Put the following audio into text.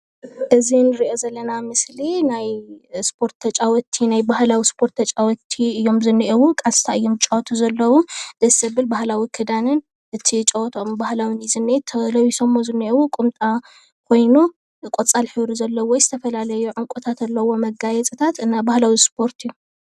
እዚ እንርእዮ ዘለና ምስሊ ናይ ስፖርት ተጫወቲ ናይ ባህላዊ ስፖርት ተጫወቲ እዮም ዝንኤዉ ቃስታ እዮም ዝጫወቱ ዘለዉ ደስ ዘብል ባህላዊ ክዳንን እቲ ጨወተኦም ባህላዊ እዩ ዝንኤ ተለቢሶም ዝንሄዉ ቁምጣ ኮይኑ ቆጻል ሕብሪ ዘለዉ ዝተፈላለዩ ዕንቁታት ኣለዉዎ መጋየጽታት ናይ ባህላዊ ስፖርት እዮም።